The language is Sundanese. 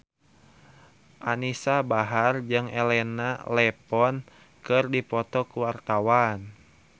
Anisa Bahar jeung Elena Levon keur dipoto ku wartawan